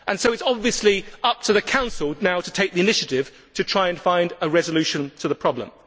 So it is now obviously up to the Council to take the initiative to try and find a resolution to the problem.